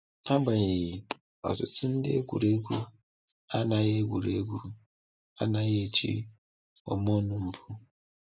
Agbanyeghị, ọtụtụ ndị egwuregwu anaghị egwuregwu anaghị eji hormone mbụ.